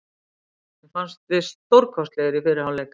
Mér fannst við stórkostlegir í fyrri hálfleik.